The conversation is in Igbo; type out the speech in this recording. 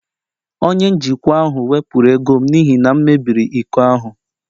Onye njikwa ahụ wepụrụ ego m n'ihi na m mebiri iko ahụ